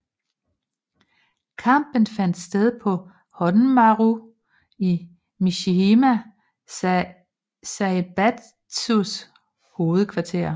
Kampen fandt sted på Honmaru i Mishima Zaibatsus hovedkvarter